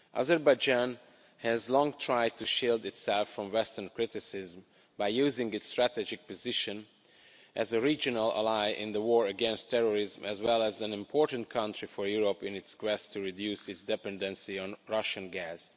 Azerbaijan has long tried to shield itself from Western criticism by using its strategic position as a regional ally in the war against terrorism as well as an important country for Europe in its quest to reduce its dependency on Russian gas.